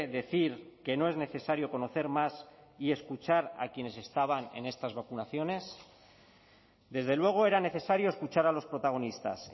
decir que no es necesario conocer más y escuchar a quienes estaban en estas vacunaciones desde luego era necesario escuchar a los protagonistas